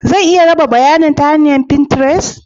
Zan iya raba bayanin ta hanyar finterest?